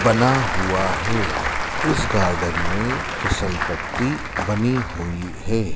बना हुआ है इस गार्डन में फिसल पट्टी बनी हुई है।